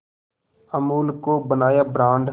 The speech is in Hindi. अमूल को बनाया ब्रांड